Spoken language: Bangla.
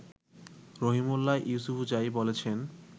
রহিমউল্লাহ ইউসুফজাই বলেছেন